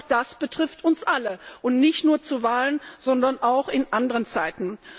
Auch das betrifft uns alle, nicht nur zu Wahlen, sondern auch in anderen Zeiten.